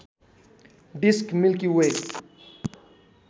disk Milky way